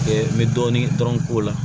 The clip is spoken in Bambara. n bɛ dɔɔni dɔrɔn k'o la